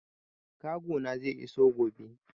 Kago na zai iso gobe.